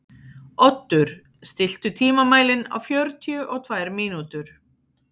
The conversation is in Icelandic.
Oddur, stilltu tímamælinn á fjörutíu og tvær mínútur.